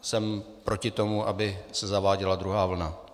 Jsem proti tomu, aby se zaváděla druhá vlna.